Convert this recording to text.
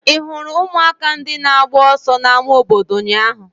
Ị hụrụ ụmụaka ndị na-agba ọsọ n'ámá obodo ụnyaahụ?